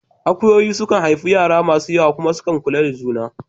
Akuyoyi su kan haifi yara masu yawa kuma su kula da su sosai